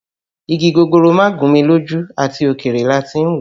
Igi gogoro má gún mi lójú, àti òkèèrè láti ń wò ó